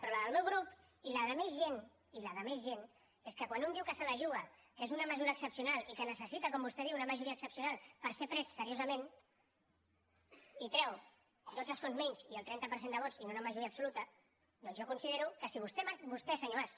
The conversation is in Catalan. però la del meu grup i la de més gent i la de més gent és que quan un diu que se la juga que és una mesura excepcional i que necessita com vostè diu una majoria excepcional per ser pres seriosament i treu dotze escons menys i el trenta per cent de vots i no una majoria absoluta doncs jo considero que si vostè senyor mas